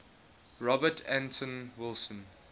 robert anton wilson